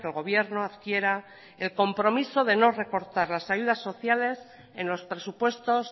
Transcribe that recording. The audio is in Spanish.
gobierno adquiera el compromiso de no recortar las ayudas sociales en los presupuestos